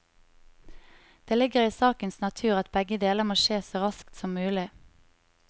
Det ligger i sakens natur at begge deler må skje så raskt som mulig.